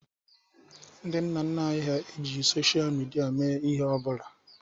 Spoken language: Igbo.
Nna nna anyị hà ejighi sochịa midia mee ihe ọ bụla.